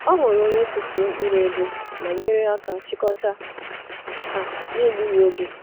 Ọ hụrụ onye tụfuru mkpụrụ ego ma nyere aka chịkọta ha n’egbughị oge.